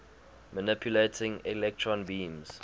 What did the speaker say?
manipulating electron beams